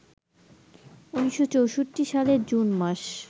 ১৯৬৪ সালের জুন মাস